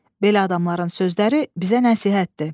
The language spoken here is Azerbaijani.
Belə adamların sözləri bizə nəsihətdir.